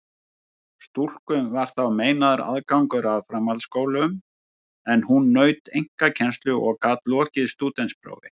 Stúlkum var þá meinaður aðgangur að framhaldsskólum, en hún naut einkakennslu og gat lokið stúdentsprófi.